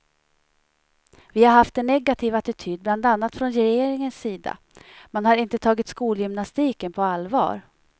Vi har haft en negativ attityd bland annat från regeringens sida, man har inte tagit skolgymnastiken på allvar.